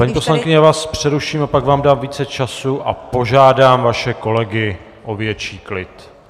Paní poslankyně, já vás přeruším a pak vám dám více času a požádám vaše kolegy o větší klid.